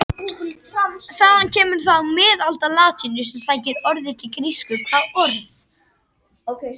Þaðan kemur það úr miðaldalatínu sem sækir orðið til grísku.